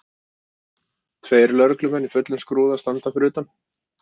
Tveir lögreglumenn í fullum skrúða standa fyrir utan.